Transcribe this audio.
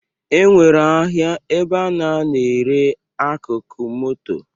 E nwere ahịa ebe a na-ere akụkụ moto